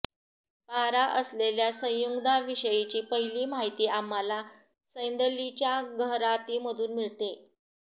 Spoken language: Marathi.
पारा असलेल्या संयुग्धांविषयीची पहिली माहिती आम्हाला सदैलींच्या गहरातींमधून मिळते